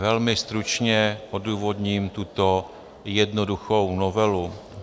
Velmi stručně odůvodním tuto jednoduchou novelu.